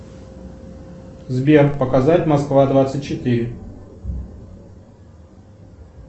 сбер показать москва двадцать четыре